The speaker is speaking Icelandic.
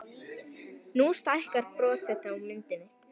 Nú stækkar bros þitt á myndinni.